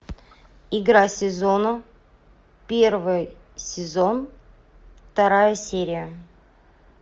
игра сезона первый сезон вторая серия